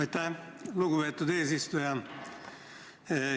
Aitäh, lugupeetud eesistuja!